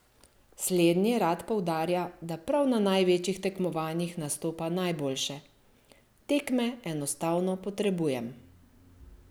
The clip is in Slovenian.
Slednji rad poudarja, da prav na največjih tekmovanjih nastopa najboljše: "Tekme enostavno potrebujem.